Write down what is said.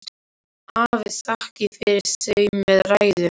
Afi þakkaði fyrir þau með ræðu.